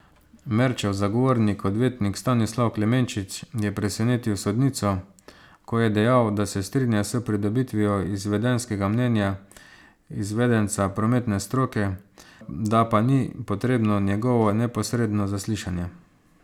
Merčev zagovornik, odvetnik Stanislav Klemenčič, je presenetil sodnico, ko je dejal, da se strinja s pridobitvijo izvedenskega mnenja izvedenca prometne stroke, da pa ni potrebno njegovo neposredno zaslišanje.